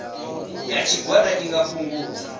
ya tshigwada i nga fhungudza